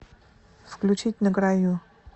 включить на краю